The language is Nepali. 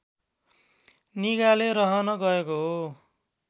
निगाले रहन गएको हो